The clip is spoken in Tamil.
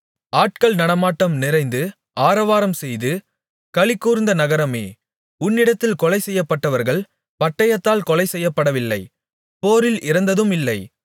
ஆட்கள் நடமாட்டம் நிறைந்து ஆரவாரம்செய்து களிகூர்ந்திருந்த நகரமே உன்னிடத்தில் கொலை செய்யப்பட்டவர்கள் பட்டயத்தால் கொலை செய்யப்படவில்லை போரில் இறந்ததும் இல்லை